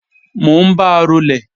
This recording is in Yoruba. Mò ń ba rolè